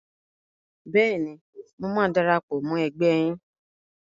Bẹ́ẹ̀ni, mo máa darapọ̀ mọ́ ẹgbẹ́ yín.